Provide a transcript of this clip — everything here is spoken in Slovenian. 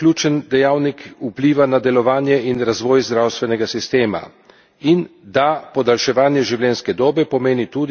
In da podaljševanje življenjske dobe pomeni tudi, da se podaljšuje doba, ko oseba potrebuje stalno zdravstveno oskrbo.